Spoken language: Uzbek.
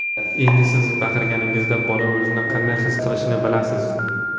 Endi siz baqirganingizda bola o‘zini qanday his qilishini bilasiz.